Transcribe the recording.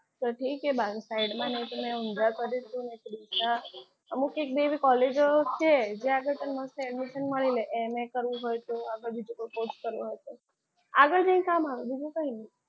side કે અમુક એક બે કોલેજો છે જ્યાં તમને admission મળી રહે MA કરવું હોય તો આ બધું course કરવો હોય તો આગળ જઈને કામ આવે બીજું કંઈ નહીં.